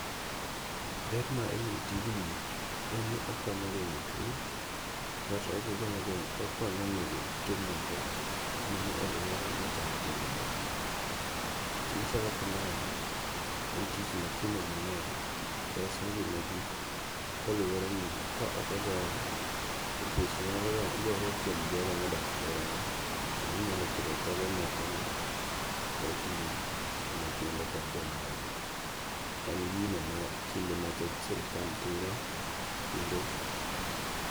Ber ma iyudo e tijni, en ni okonyo gengo' tuo kaeto okonyo nego kute moko manie e aluora machando ngi'ma thano. Tich machalo kamae en tich makinde mange'ny reso ngi'ma ji koluore ni ka okogoye to twoch nyalo gore kuom jogo ma odakie e aluorani, kendo onyalo kelo thoge moko ma ohiw ne nyithindo kod joma dongo, en gino ma kinde mathoth sirikal timo kendo.